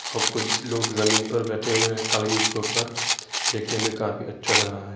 और कुछ लोग जमीन पर बेठे हुए हैं कालीन के ऊपर। देखने में काफी अच्छा लग रहा है।